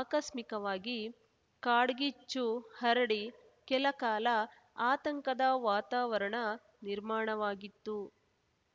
ಆಕಸ್ಮಿಕವಾಗಿ ಕಾಡ್ಗಿಚ್ಚು ಹರಡಿ ಕೆಲ ಕಾಲ ಆತಂಕದ ವಾತಾವರಣ ನಿರ್ಮಾಣವಾಗಿತ್ತು